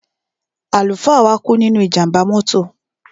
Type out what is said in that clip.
Àlùfáà wa kú nínú ìjàmbá mọ́tò.